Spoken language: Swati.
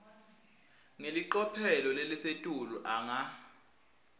ngelicophelo lelisetulu anga